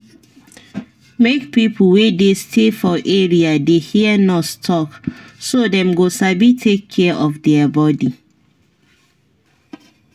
make pipo wey dey stay for area dey hear nurse talk so dem go sabi take care of their body.